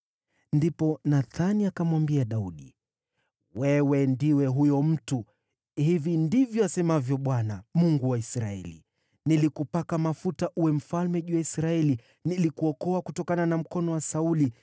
Ndipo Nathani akamwambia Daudi, “Wewe ndiwe huyo mtu! Hivi ndivyo asemavyo Bwana , Mungu wa Israeli: ‘Nilikupaka mafuta uwe mfalme juu ya Israeli, nilikuokoa kutokana na mkono wa Sauli.